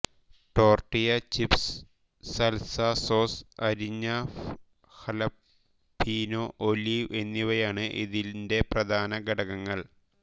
tortilla chips salsa sauce അരിഞ്ഞ jalapeno olive എന്നിവയാണ് ഇതിന്റെ പ്രധാന ഘടകങ്ങൾ